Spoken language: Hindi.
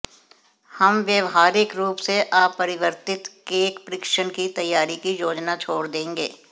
हम व्यावहारिक रूप से अपरिवर्तित केक परीक्षण की तैयारी की योजना छोड़ देंगे